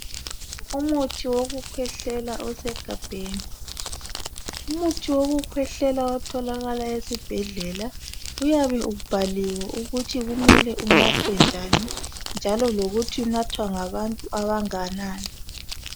Umuthi wokukhwehlela osegabheni Umuthi wokukhwehlela otholakala esibhedlela uyabe ubhaliwe ukuthi kumele unathwe njani njalo lokuthi unathwa ngabantu abanganani